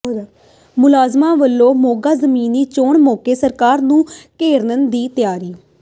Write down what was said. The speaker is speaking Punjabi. ਮੁਲਾਜ਼ਮਾਂ ਵੱਲੋਂ ਮੋਗਾ ਜ਼ਿਮਨੀ ਚੋਣ ਮੌਕੇ ਸਰਕਾਰ ਨੂੰ ਘੇਰਨ ਦੀ ਤਿਆਰੀ